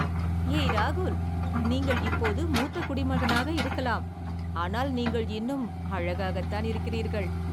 ஏய் ராகுல், நீங்கள் இப்போது மூத்த குடிமகனாக இருக்கலாம், ஆனால் நீங்கள் இன்னும் அழகாகத்தான் இருக்கிறீர்கள்.